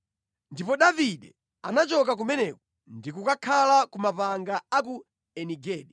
Ndipo Davide anachoka kumeneko ndi kukakhala ku mapanga a ku Eni Gedi.